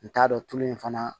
N t'a dɔn tulu in fana